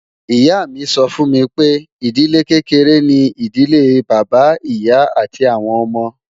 Ìyá mi sọ fún mi pé, ìdílé kékeré ni ìdílé Bàbá, Ìyá, àti àwọn ọmọ